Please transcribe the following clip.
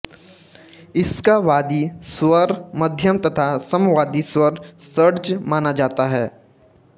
इसका वादी स्वर मध्यम तथा सम्वादी स्वर षड्ज माना जाता है